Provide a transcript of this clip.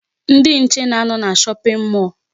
Ndị nche na-anọ na shopping mall.